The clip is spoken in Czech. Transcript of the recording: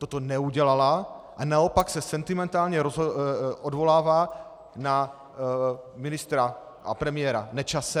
Toto neudělala a naopak se sentimentálně odvolává na ministra a premiéra Nečase.